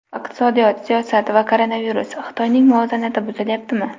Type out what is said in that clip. Iqtisodiyot, siyosat va koronavirus: Xitoyning muvozanati buzilyaptimi?.